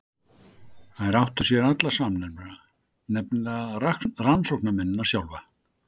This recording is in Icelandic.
Þær áttu sér allar samnefnara, nefnilega rannsóknarmennina sjálfa.